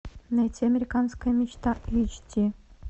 найти американская мечта эйч ди